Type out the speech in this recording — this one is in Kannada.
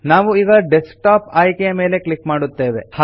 ನಾವು ಈಗ ಡೆಸ್ಕ್ಟಾಪ್ ಆಯ್ಕೆಯ ಮೇಲೆ ಕ್ಲಿಕ್ ಮಾಡುತ್ತೇವೆ